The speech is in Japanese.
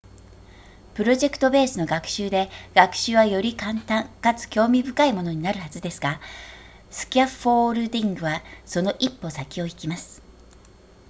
プロジェクトベースの学習で学習はより簡単かつ興味深いものになるはずですがスキャフォールディングはその1歩先を行きます